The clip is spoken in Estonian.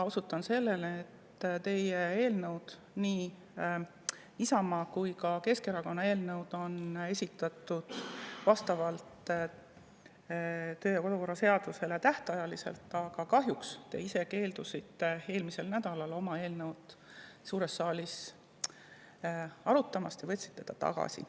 Osutan sellele, et teie eelnõud, nii Isamaa kui ka Keskerakonna eelnõu, on esitatud vastavalt töö‑ ja kodukorra seadusele tähtajaliselt, aga kahjuks te keeldusite eelmisel nädalal oma eelnõu suures saalis arutamast ja võtsite selle tagasi.